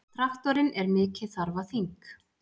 Traktorinn er mikið þarfaþing!